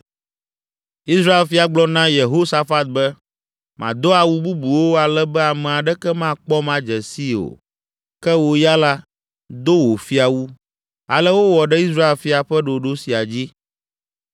Israel fia gblɔ na Yehosafat be, “Mado awu bubuwo ale be ame aɖeke makpɔm adze sii o; ke wò ya la, do wò fiawu!” Ale wowɔ ɖe Israel fia ƒe ɖoɖo sia dzi.